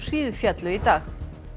hríðféllu í dag